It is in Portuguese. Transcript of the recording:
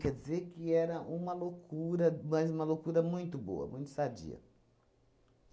Quer dizer que era uma loucura, mas uma loucura muito boa, muito sadia.